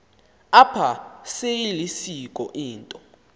apha seyilisiko into